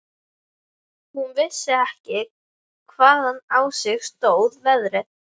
Hún vissi ekki hvaðan á sig stóð veðrið.